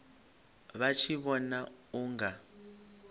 vha tshi vhona u nga